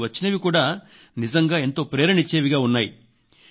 కానీ వచ్చినవి కూడా నిజంగా ఎంతో ప్రేరణ ఇచ్చేవిగా ఉన్నాయి